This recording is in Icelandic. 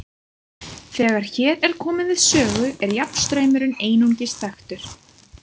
Þegar hér er komið við sögu er jafnstraumurinn einungis þekktur.